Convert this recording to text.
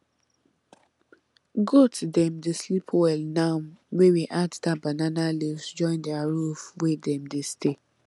goat dem dey sleep well now wey we add that banana leaves join their roof wey dem dey stay